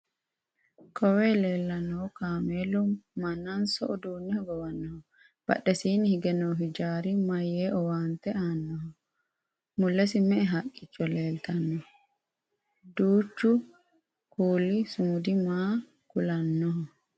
kowiyo leellannohu kameelu mannanso uduunne hogowannoho? badhessiini hige noo hijaari maye owaante aannoho? mulesi me"e haqqicho leeltanno? duuchu kuuli sumudi maa kulannoho?